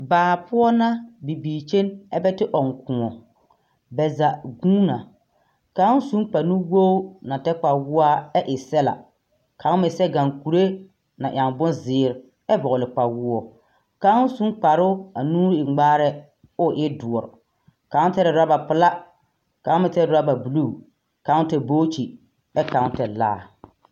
Baa poɔ na bibiir kyen ɛbɛ te ɔŋ kõɔ. Bɛ zaa guun na. Kão sun kpanuwoor na tɛr kpawoɔa ɛ e sɛla, kão meŋ sɛ gaŋkure na nyao bonzeer ɛ vɔgele kpawoɔ. Kão sun kparoo a nu e ŋmaarɛɛ oo e doɔr. Kão tɛre rɔbapelaa kão meŋ tɛr rɔbabuluu. Kão tɛr bookyi ɛ kão tɛr laa.